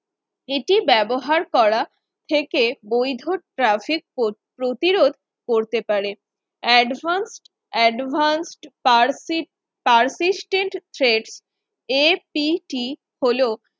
এটি ব্যবহার করা থেকে বৈধ traffic প্রতিরোধ করতে পারে Advance Advancepercip perceptance এর app হলো